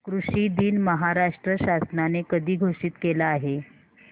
कृषि दिन महाराष्ट्र शासनाने कधी घोषित केला आहे